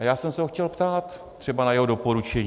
A já jsem se ho chtěl ptát třeba na jeho doporučení.